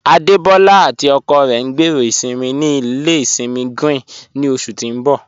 Adebọla àti ọkọ rẹ ń gbẹ́rọ́ isinmí ní ilẹ̀ isinmí Grín ni oṣù tí ń bọ̀.